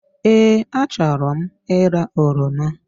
Ee, a chọrọ m ịra oroma